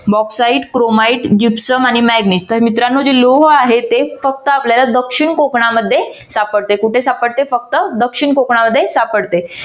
bauxite chromite gypsum आणि manganese तर मित्रांनो हे लोह आहे ते फक्त आपल्याला दक्षिण कोकणामध्ये सापडते. कुठे सापडते? फक्त दक्षिण कोकणामध्ये सापडते.